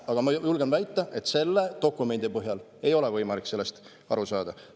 Aga ma julgen väita, et selle dokumendi põhjal ei ole võimalik sellest aru saada.